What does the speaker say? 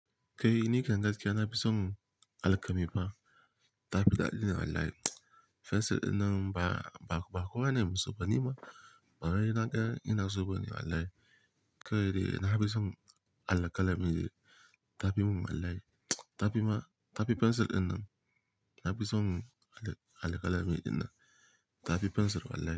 Kai ni kyan gaskiya na fi son alƙamii fa. Tafi daddi wallahi. Fensir dinnan ba, ba kowane masoya ba ni ma. Bara ina ƙya ina soba ne wallahi. Kawai dai na fi son alƙalami dai. Tafi mun wallahi. Tafi ma, tafi fensir dinnan. Na fi son alƙalami dinnan. Tafi fensir wallahi.